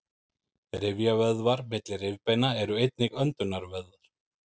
rifjavöðvar milli rifbeina eru einnig öndunarvöðvar